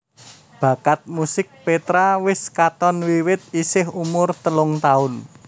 Bakat musik Petra wis katon wiwit isih umur telung taun